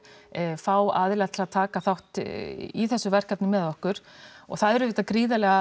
fá aðila til að taka þátt í þessu verkefni með okkur og það er auðvitað gríðarlega